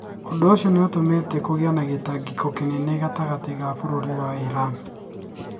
Ũndũ ũcio nĩ ũtũmĩte kũgĩe na gĩtangiko kĩnene gatagatĩ ka bũrũri wa Iran,.